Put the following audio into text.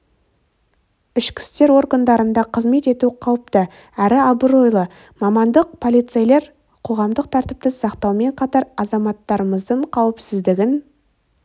ішкі істер органдарында қызмет ету қауіпті әрі абыройлы мамандық полицейлер қоғамдық тәртіпті сақтаумен қатар азаматтарымыздың қауіпсіздігін